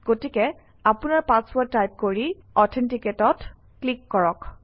গতিকে আপোনৰ password type কৰি Authenticate অত ক্লিক কৰক